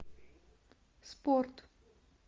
спорт